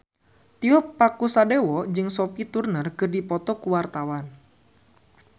Tio Pakusadewo jeung Sophie Turner keur dipoto ku wartawan